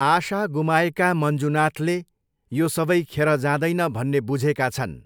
आशा गुमाएका मञ्जुनाथले यो सबै खेर जाँदैन भन्ने बुझेका छन्।